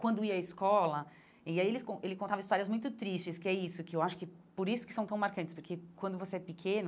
Quando ia à escola, e aí ele con ele contava histórias muito tristes, que é isso que eu acho que por isso que são tão marcantes, porque quando você é pequeno,